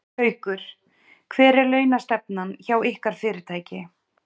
Haukur: Hver er launastefnan hjá ykkar fyrirtæki?